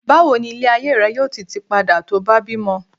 bawo ni ile ayé rẹ yíò tí ti pada to ba bímọ